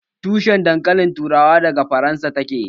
Tushin dankalin turawa daga Faransa ta ke